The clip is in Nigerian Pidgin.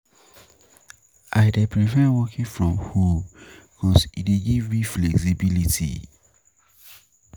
I um dey prefer working from home because e dey give me flexibility.